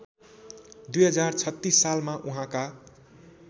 २०३६ सालमा उहाँका